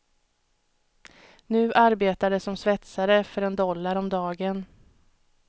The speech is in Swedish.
Nu arbetar de som svetsare för en dollar om dagen.